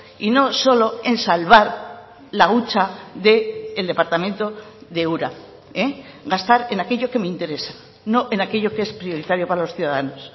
y no solo en salvar la hucha del departamento de ura gastar en aquello que me interesa no en aquello que es prioritario para los ciudadanos